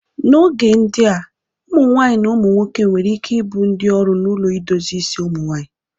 N'oge ndịa, ụmụnwaanyị na ụmụ nwoke nwere ike ibụ ndị ọrụ n'ụlọ idozie isi ụmụnwaanyị.